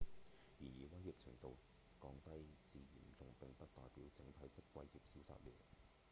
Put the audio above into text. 然而威脅程度降低至『嚴重』並不代表整體的威脅消失了」